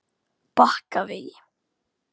Bakkavegi